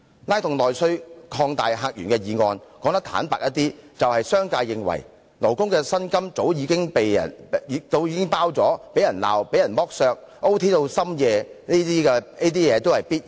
"拉動內需擴大客源"這項議案，說得坦白些，就是商界認為勞工的薪酬已包含被責罵、被剝削、加班至夜深等，全部也是必然的。